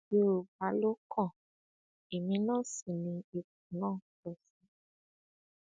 yorùbá ló kàn èmi náà sí ni ipò náà tọ́ sí